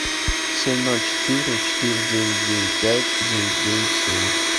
семь ноль четыре четыре девять девять пять девять девять семь